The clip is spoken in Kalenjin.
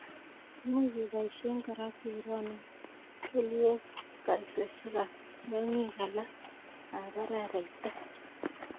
Imuch keboisien kora keronon kelyeeb kaitosiek ab tyong'ik alak ab araaraita.